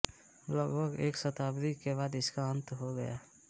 लगभग एक शताब्दी के बाद इसका अन्त हो गया